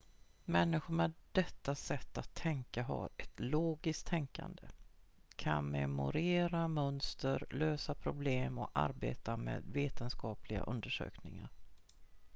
människor med detta sätt att tänka har ett logiskt tänkande kan memorera mönster lösa problem och arbeta med vetenskapliga undersökningar